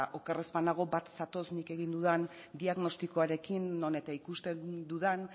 oker ez banago bat zatoz nik egin dudan diagnostikoarekin non eta ikusten dudan